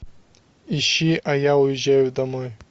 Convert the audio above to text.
ищи а я уезжаю домой